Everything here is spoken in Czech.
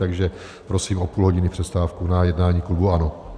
Takže prosím o půl hodiny přestávku na jednání klubu ANO.